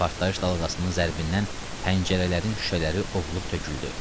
Partlayış dalğasının zərbindən pəncərələrin şüşələri ovulub töküldü.